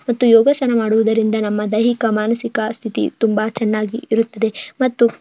ಮತ್ತು ಯೋಗಾಸನ ಮಾಡುವುದರಿಂದ ನಮ್ಮಾ ದೈಹಿಕ ಮಾನಸಿಕ ಸ್ಥಿತಿ ತುಂಬಾ ಚೆನ್ನಾಗಿರುತ್ತದೆ ಮತ್ತು